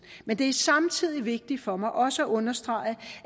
men det er samtidig vigtigt for mig også at understrege